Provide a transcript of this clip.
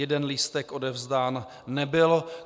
Jeden lístek odevzdán nebyl.